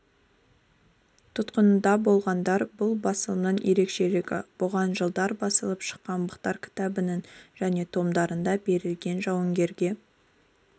тұтқынында болғандар бұл басылымның ерекшелігі бұған жылдары басылып шыққан боздақтар кітабының және томдарында берілген жауынгерге